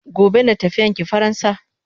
Gobe ne tafiyan ki faransa?